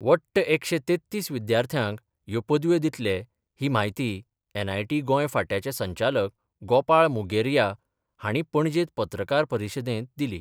वट्ट एकशें तेत्तिस विद्यार्थ्यांक ह्यो पदव्यो दितले ही म्हायती एनआयटी गोंय फाट्यांचे संचालक गोपाळ मुगेरया हांणी पणजेंत पत्रकार परिशदेंत दिली.